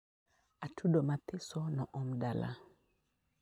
Atudo mathiso noom dala